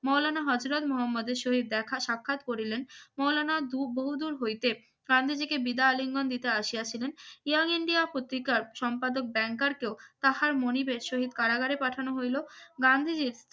মৌলানা হযরত মুহাম্মদের সহিত দেখা সাক্ষাৎ করলেন মাওলানা দু বহুদূর হইতে গান্ধীজিকে বিদায় আলিঙ্গন দিতে আসিয়াছিলেন ইয়ং ইন্ডিয়া পত্রিকার সম্পাদক ব্যাংকার কেউ তাহার মনিবের সহিত কারাগারে পাঠানো হইল গান্ধীজীর